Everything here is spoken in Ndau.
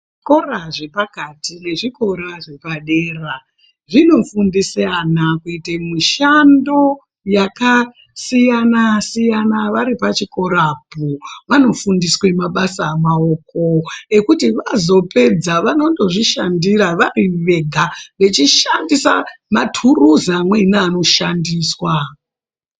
Zvikora zvepakati nezvikora zvepadera zvinofundisa vana kuita mishando kuita mabasa. Akasiyana varipo pachikorapo kuita mabasa emaoko vazopedza vanozozvishandira vari Vega veishanda matuluzi amweni neanoshandiswa